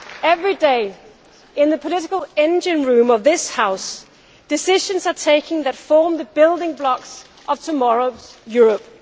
Every day, in the political engine room of this House, decisions are taken that form the building blocks of tomorrow's Europe.